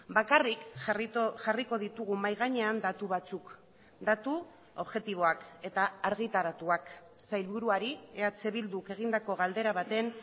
bakarrik jarriko ditugu mahai gainean datu batzuk datu objektiboak eta argitaratuak sailburuari eh bilduk egindako galdera baten